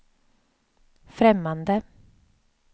främmande